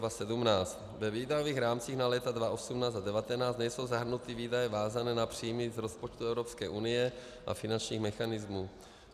Ve výdajových rámcích na léta 2018 a 2019 nejsou zahrnuty výdaje vázané na příjmy z rozpočtu Evropské unie a finančních mechanismů.